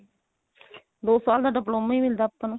ਦੋ ਸਾਲ ਦਾ diploma ਹੀ ਮਿਲਦਾ ਆਪਾਂ ਨੂੰ